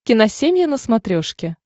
киносемья на смотрешке